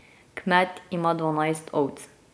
Kmet ima dvanajst ovc.